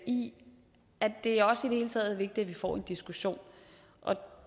i at det også det hele taget får en diskussion